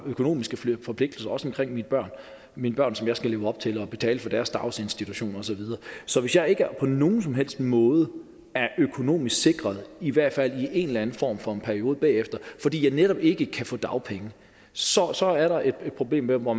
økonomiske forpligtelser også omkring mine børn som jeg skal leve op til betaling for deres daginstitutioner og så videre så hvis jeg ikke på nogen som helst måde er økonomisk sikret i hvert fald i en eller anden form for periode bagefter fordi jeg netop ikke kan få dagpenge så så er der et problem hvor